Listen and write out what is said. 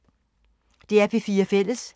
DR P4 Fælles